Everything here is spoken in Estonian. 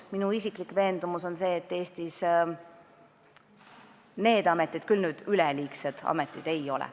Minu isiklik veendumus on see, et Eestis need ametid nüüd küll üleliigsed ei ole.